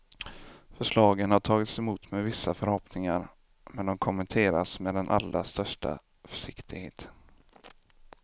Förslagen har tagits emot med vissa förhoppningar, men de kommenteras med den allra största försiktighet.